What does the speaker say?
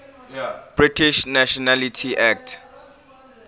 british nationality act